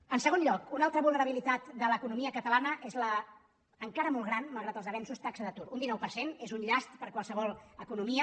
en segon lloc una altra vulnerabilitat de l’economia catalana és l’encara molt gran malgrat els avenços ta·xa d’atur un dinou per cent és un llast per a qualsevol economia